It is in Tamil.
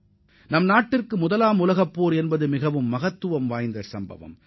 இந்தியாவைப் பொறுத்தவரை முதல் உலகப் போர் மிகவும் முக்கியமானதாகும்